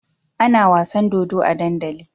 Ana wasan dodo a dandali